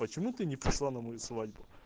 почему ты не пришла на мою свадьбу